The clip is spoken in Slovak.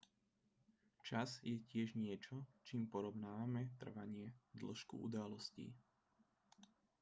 čas je tiež niečo čím porovnávame trvanie dĺžku udalostí